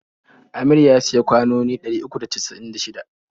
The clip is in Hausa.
Amir ya siya kwanoni ɗari uku da casa'in da shida.